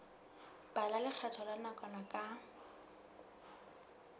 bala lekgetho la nakwana ka